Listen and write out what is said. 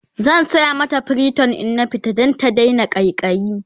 zan saya mata priton in na fita Dan ta Daina ƙaiƙayi